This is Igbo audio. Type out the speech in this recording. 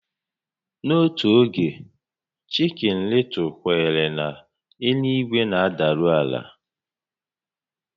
N'otu oge, chikin Lịtụl kwenyere na elu-ígwé na-adaru àlà